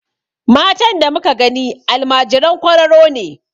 Matan da muka gani almajiran kwararo ne.